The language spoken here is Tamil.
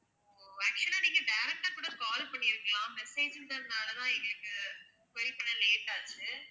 ஓ actual ஆ நீங்க direct ஆ கூட call பண்ணி இருக்கலாம் message ன்றதுனால தான் எங்களுக்கு பண்ண late ஆச்சு